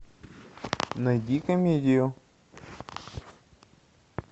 найди комедию